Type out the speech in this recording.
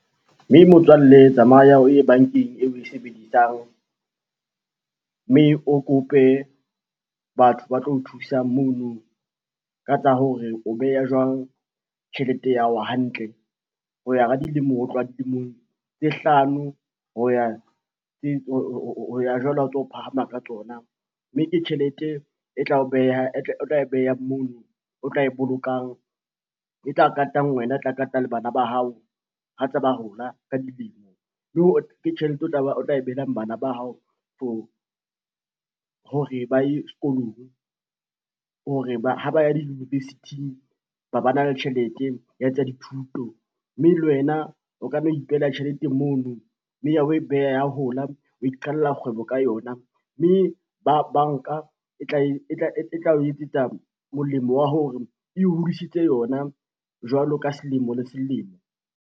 Mme motswalle tsamaya o ye bankeng eo we sebedisang, mme o kope batho ba tlo o thusang mono ka tsa hore o beha jwang tjhelete ya hao hantle. Ho ya ka dilemo ho tloha dilemong tse hlano ho ya jwalo ha o ntso phahama ka tsona, mme ke tjhelete o tla e beha mono, o tla e bolokang e tla katang wena e tla kata le bana ba hao. Ha tsa ba hola ka dilemo le hore ke tjhelete o tla e behelang bana ba hao hore ba ye sekolong hore ha ba ya di-university-ng ba ba na le tjhelete ya tsa dithuto. Mme le wena o ka nna ipehela tjhelete mono, mme ha we beha ya hola wa iqalella kgwebo ka yona, mme banka e tla o etsetsa molemo wa hore e hodisitse yona jwalo ka selemo le selemo.